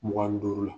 Mugan ni duuru la